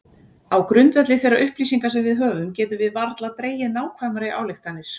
Á grundvelli þeirra upplýsinga sem við höfum getum við varla dregið nákvæmari ályktanir.